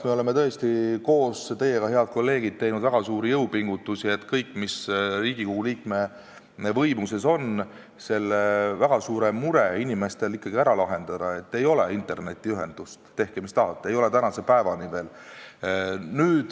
Me oleme tõesti koos teiega, head kolleegid, teinud väga suuri jõupingutusi, kõik, mis Riigikogu liikmete võimuses on, et ikkagi ära lahendada see inimeste väga suur mure, et ei ole internetiühendust – tehke, mis tahate, tänase päevani veel ei ole.